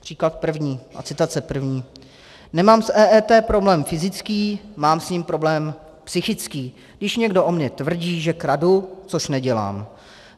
Příklad první a citace první: Nemám s EET problém fyzický, mám s ním problém psychický, když někdo o mně tvrdí, že kradu, což nedělám.